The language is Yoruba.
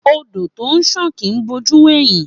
Ódò tọ ńṣàn kì í bò jú wẹ̀hìn.